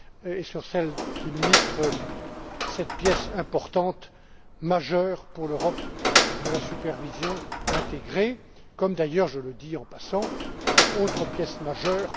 et sur celle des ministres, cette pièce importante, majeure pour l'Europe, de la supervision intégrée, comme, d'ailleurs, je le dis en passant, une autre pièce majeure.